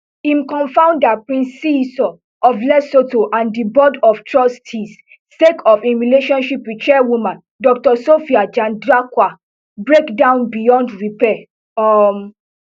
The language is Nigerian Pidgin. im confounder prince seeiso of lesotoh and di board of trustees sake of im relationship wit chairwoman doctor sophie chandakwa break down beyond repair um